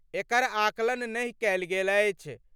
एकर आकलन नहि कएल गेल अछि।